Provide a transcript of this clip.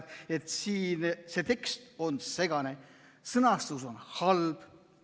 –, et see tekst on segane, sõnastus on halb.